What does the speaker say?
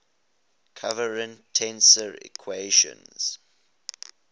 covariant tensor equations